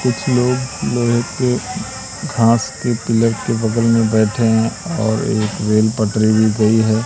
कुछ लोग घास के पीलर के बगल में बैठे है और एक रेल पटरी भी गई है।